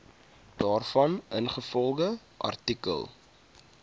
daarvan ingevolge artikel